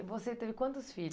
E você teve quantos filhos?